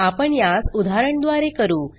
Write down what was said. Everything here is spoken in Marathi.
आपण यास उदाहरण द्वारे करू